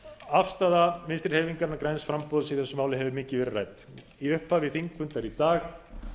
afstaða vinstri hreyfingarinnar græns framboðs í þessu máli hefur mikið verið rædd í upphafi þingfundar í dag